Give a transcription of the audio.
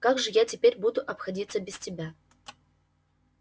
как же я теперь буду обходиться без тебя